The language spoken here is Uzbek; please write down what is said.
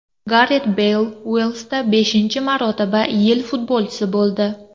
Garet Beyl Uelsda beshinchi marotaba yil futbolchisi bo‘ldi.